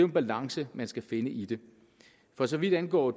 en balance man skal finde i det for så vidt angår